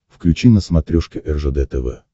включи на смотрешке ржд тв